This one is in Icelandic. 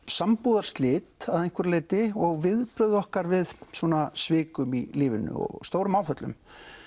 sambúðarslit að einhverju leyti og viðbrögð okkar við svikum í lífinu og stórum áföllum